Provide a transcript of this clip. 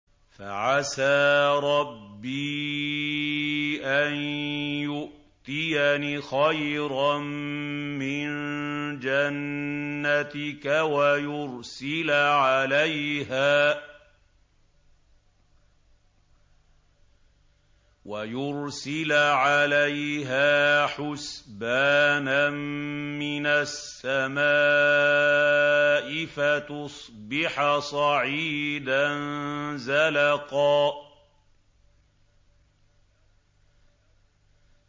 فَعَسَىٰ رَبِّي أَن يُؤْتِيَنِ خَيْرًا مِّن جَنَّتِكَ وَيُرْسِلَ عَلَيْهَا حُسْبَانًا مِّنَ السَّمَاءِ فَتُصْبِحَ صَعِيدًا زَلَقًا